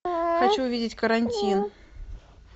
хочу увидеть карантин